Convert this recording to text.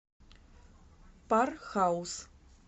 пар хаус